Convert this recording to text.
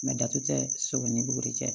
datugu ni buguri cɛ